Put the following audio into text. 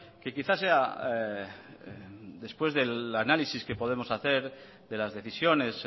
que quizás sea después del análisis que podemos hacer de las decisiones